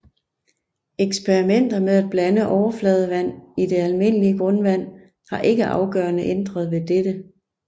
Eksperimenter med at blande overfladevand i det almindelige grundvand har ikke afgørende ændret ved dette